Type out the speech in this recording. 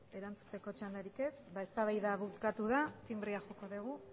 erantzuteko txandarik ez ba eztabaida bukatu da tinbrea joko dugu